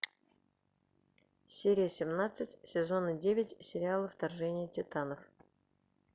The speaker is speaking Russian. серия семнадцать сезона девять сериала вторжение титанов